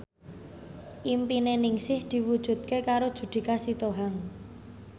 impine Ningsih diwujudke karo Judika Sitohang